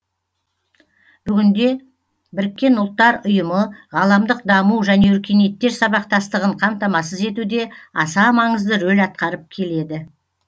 бүгінде біріккен ұлттар ұйымы ғаламдық даму және өркениеттер сабақтастығын қамтамасыз етуде аса маңызды рөл атқарып келеді